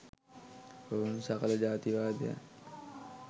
ඔවුන් සකල ජාතිවාදයන්